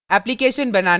application बनाना